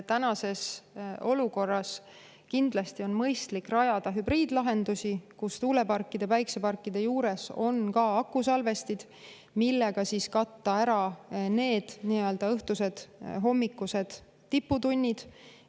Tänases olukorras on kindlasti mõistlik rajada hübriidlahendusi, kus tuuleparkide, päikeseparkide juures on akusalvestid, mille abil katta ära need õhtused ja hommikused tiputunnid.